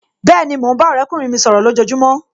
Bẹ́ẹ̀ni, mo ń bá ọ̀rẹ́kùnrin mi sọ̀rọ̀ lojojumo